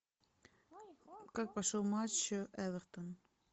как прошел матч эвертон